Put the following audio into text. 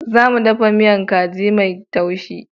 Za mu ɗafa miya kaji mai taushi.